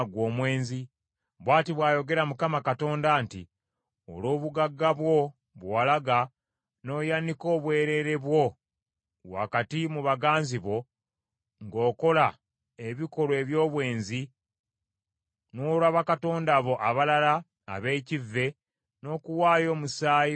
Bw’ati bw’ayogera Mukama Katonda nti, Olw’obugagga bwo bwe walaga, n’oyanika obwereere bwo wakati mu baganzi bo ng’okola ebikolwa eby’obwenzi, n’olwa bakatonda bo abalala ab’ekivve, n’okuwaayo omusaayi gw’abaana bo,